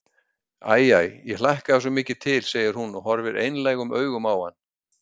Æ, æ, ég hlakkaði svo mikið til, segir hún og horfir einlægum augum á hann.